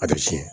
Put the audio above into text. A bɛ tiɲɛ